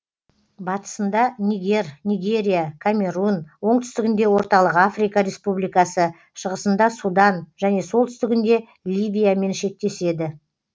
батысында нигер нигерия камерун оңтүстігінде орталық африка республикасы шығысында судан және солтүстігінде ливиямен шектеседі